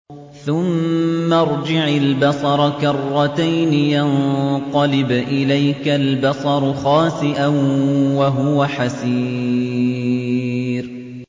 ثُمَّ ارْجِعِ الْبَصَرَ كَرَّتَيْنِ يَنقَلِبْ إِلَيْكَ الْبَصَرُ خَاسِئًا وَهُوَ حَسِيرٌ